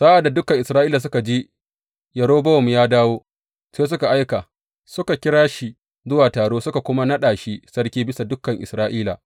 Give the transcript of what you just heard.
Sa’ad da dukan Isra’ilawa suka ji Yerobowam ya dawo, sai suka aika, suka kira shi zuwa taro, suka kuma naɗa shi sarki bisa dukan Isra’ila.